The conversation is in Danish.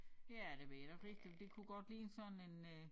Ja det ved jeg da ikke rigtig det kunne godt ligne sådan en øh